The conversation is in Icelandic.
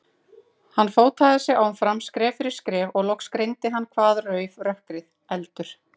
Hann fótaði sig áfram, skref fyrir skref, og loks greindi hann hvað rauf rökkrið, eldur.